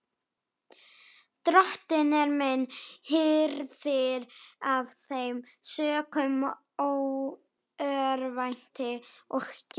Drottinn er minn hirðir, af þeim sökum örvænti ég ekki.